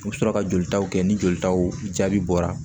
U bɛ sɔrɔ ka jolitaw kɛ ni jolitaw jaabi bɔra